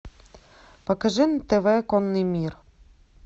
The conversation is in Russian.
покажи на тв конный мир